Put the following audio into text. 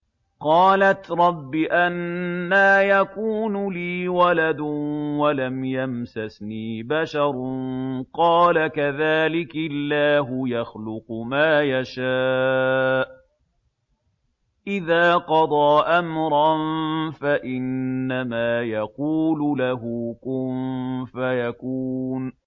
قَالَتْ رَبِّ أَنَّىٰ يَكُونُ لِي وَلَدٌ وَلَمْ يَمْسَسْنِي بَشَرٌ ۖ قَالَ كَذَٰلِكِ اللَّهُ يَخْلُقُ مَا يَشَاءُ ۚ إِذَا قَضَىٰ أَمْرًا فَإِنَّمَا يَقُولُ لَهُ كُن فَيَكُونُ